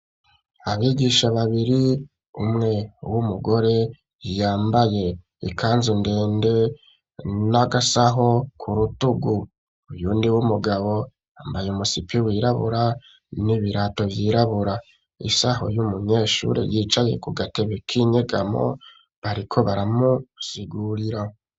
Abigisha babiri umwe w'umugore yambaye ikanzu ndende n'agasaho ku rutugu uyundi w'umugabo ambaye umusipi wirabura n'ibirato vyirabura isaho y'umunyeshure yicaye ku gatebe k'inyegamo bariko baramusigurira.